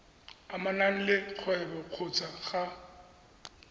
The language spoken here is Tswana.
amanang le kgwebo kgotsa ga